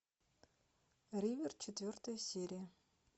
ривер четвертая серия